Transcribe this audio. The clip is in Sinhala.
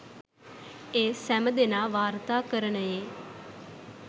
ඒ සැම දෙනා වාර්තාකරණයේ